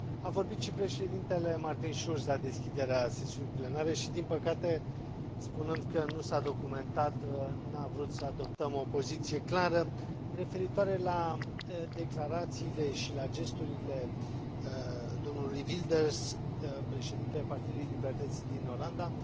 A vorbit și președintele Martin Schulz la deschiderea sesiunii plenare însă, din păcate, spunând că nu s a documentat, n a vrut să adoptăm o poziție clară referitoare la declarațiile și la gesturile domnului Wilders, președintele Partidului pentru Libertate din Olanda.